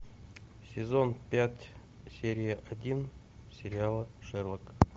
сезон пять серия один сериала шерлок